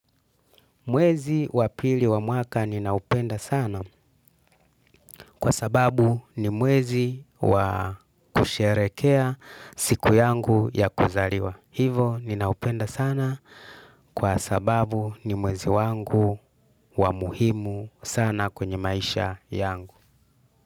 Mwezi wa pili wa mwaka ninaupenda sana kwa sababu ni mwezi wa kusherekea siku yangu ya kuzaliwa. Hivo ninaupenda sana kwa sababu ni mwezi wangu wa muhimu sana kwenye maisha yangu.